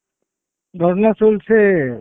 ধর্না চলছে।